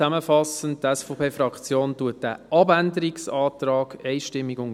Zusammenfassend: Die SVP unterstützt diesen Abänderungsantrag deshalb einstimmig.